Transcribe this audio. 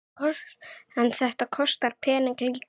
En þetta kostar peninga líka?